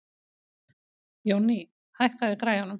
Jónný, hækkaðu í græjunum.